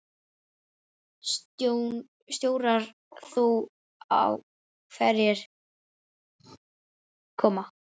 Stjórnar þú þá hverjir koma?